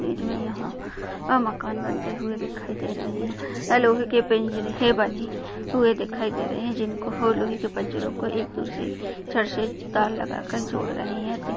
बीच में यहाँ अह मकान बनते हुए दिखाई दे रहे है। यहाँ लोहे के पिंजरे बने हुए दिखाई दे रहे है। जिनको लोहे के पिंजरों को एक दूसरे सर से तार लगा कर जोड़ रहे है।